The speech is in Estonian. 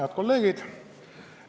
Head kolleegid!